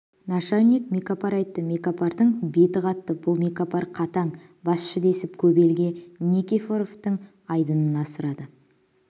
нашальник мекапар айтты мекапардың беті қатты бұл мекапар қатаң басшы десіп көп елге никифоровтың айдынын асырады